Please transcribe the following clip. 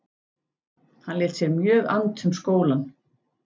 Hann lét sér mjög annt um skólann.